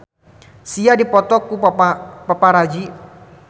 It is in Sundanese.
Sia dipoto ku paparazi